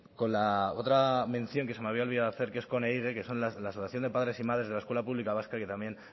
con la otra mención que se me había olvidado hacer que es con ehige que son la asociación de padres y madres de la escuela pública vasca que también